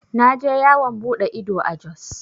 Na je yawan buɗe ido a Jos.